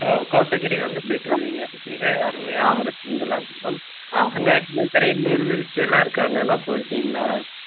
ஓ கோத்தகிரி வந்து போயிட்டு வருவீங்க மிக அருமையான ஒரு சுற்றுலாத்தளம் அங்க நீர்வீழ்ச்சி எல்லாம் இருக்கு அங்க எல்லாம் போயிருக்கீங்களா